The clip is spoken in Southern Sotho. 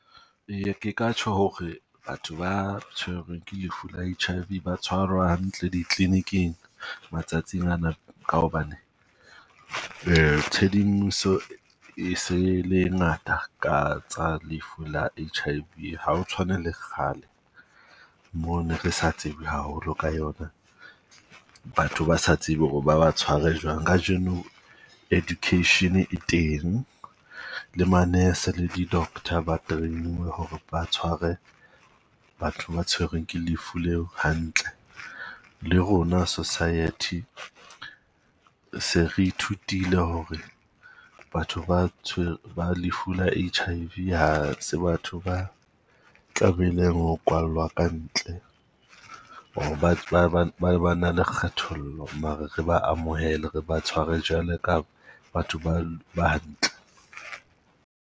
Eya ke ka tjho ho re batho ba tshwerweng ke lefu la H_I_V ba tshwara hantle di-clinic-ing matsatsing ana, ka hobane tshedimoso e se le ngata ka tsa lefu la H_I_V. Ha ho tshwane le kgale mo ne re sa tsebe haholo ka yona. Batho ba sa tsebe hore ba ba tshware jwang. Kajeno education e teng, le manese le di-doctor ba train-uwe ho re ba tshware batho ba tshwerweng ke lefu leo hantle. Le rona society se re ithutile hore batho ba ba lefu la H_I_V ha se batho ba tlamehileng ho kwallwa ka ntle. Ho ba ba ba ba na le kgethollo, mare re ba amohele, re ba tshware jwalo ka batho ba ba hantle.